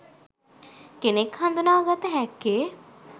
කෙනෙක් හඳුනා ගත හැක්කේ